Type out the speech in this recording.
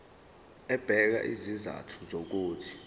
ebeka izizathu zokuthi